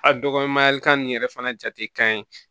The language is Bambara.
A dɔgɔnikan nin yɛrɛ fana jate ka ɲi